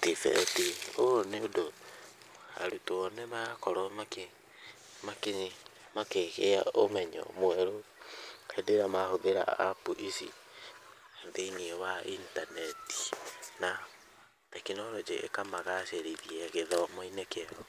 TVET, ũũ nĩ ũndũ arutwo nĩ marakorwo makĩ makĩgĩa ũmenyo mweru, hĩndĩ ĩrĩa mahũthĩra apu ici , thĩiniĩ wa intaneti, na tekinorojĩ ĩkamagacĩrithia gĩthomo-inĩ kĩao.